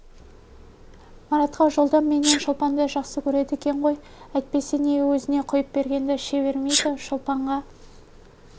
маратқа жолда менен шолпанды жақсы көреді екен ғой әйтпесе неге өзіне құйып бергенді іше бермейді шолпанға